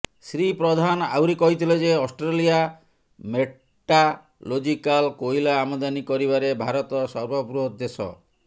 ଶ୍ରୀ ପ୍ରଧାନ ଆହୁରି କହିଥିଲେ ଯେ ଅଷ୍ଟ୍ରେଲିଆ ମେର୍ଟାଲୋଜିକାଲ୍ କୋଇଲା ଆମଦାନୀ କରିବାରେ ଭାରତ ସର୍ବବୃହତ ଦେଶ